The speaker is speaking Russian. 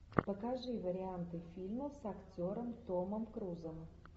покажи варианты фильмов с актером томом крузом